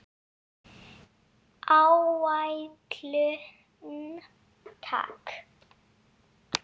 Áætlun, takk.